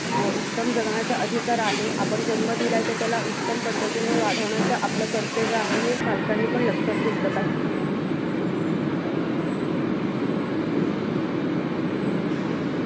उत्तम जगण्याचा अधिकार आहे. आपण जन्म दिलाय तर त्याला उत्तम पद्धतीने वाढवण्याचं आपलं कर्तव्य आहे. हे पालकांनी पण लक्षात घेतलं पाहिजे.